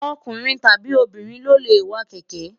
ọkùnrin tàbí obìnrin ló lè wa kẹ̀kẹ́